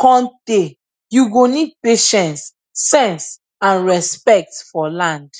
cun tay you go need patience sense and respect for land